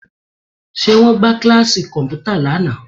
Ṣé wọ́n gbá kíláàsì kọ̀m̀pútà ní àná?